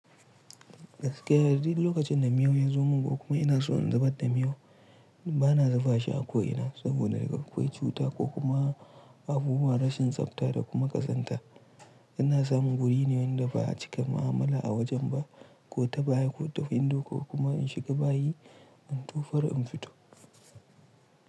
Gaskiya duk lokacin da miyo ya zo mun ko kuma ina so in zubar da miyo bana zuba shi a ko ina saboda akwai cuta ko kuma abubuwa rashin tsafta da kuma kazanta. Ina samun wuri ne wanda ba a cika ma'amala a wajen ba ko ta baya ko window ko kuma in shiga bayi in tufar in fito.